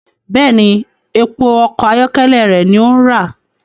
Bẹẹni, èpo ọkọ ayọkẹlẹ rẹ ní o ń ra